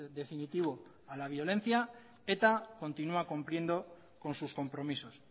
definitivo a la violencia eta continua cumpliendo con sus compromisos